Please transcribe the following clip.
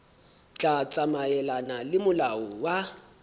tla tsamaelana le molao wa